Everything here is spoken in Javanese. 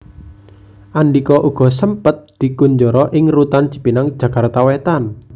Andhika uga sempet dikunjara ing Rutan Cipinang Jakarta Wétan